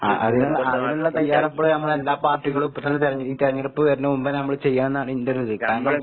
അഹ് അതിന്ള്ള അതിനുള്ള തയ്യാറെടുപ്പുകള് നമ്മളെല്ലാ പാർട്ടികളും ഇപ്പത്തന്നെ തെര ഈ തെരഞ്ഞെടുപ്പ് വരണമുമ്പെന്നെ നമ്മള് ചെയ്യണന്നാണ് ഇന്റൊരിത്. കാരണം